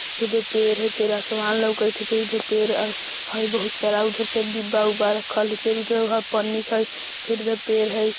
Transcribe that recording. होजो पेड़ हई फेर आसमान लउकत हई बहुत दुर पेड़ अ हई बहुत सारा उधर डिब्बा-उब्बा रखल हई फेर उधर पन्नी हई फेर इधर पेड़ हई।